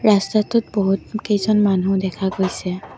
ৰাস্তাটোত বহুতকেইজন মানুহ দেখা গৈছে।